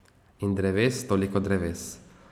In dreves, toliko dreves.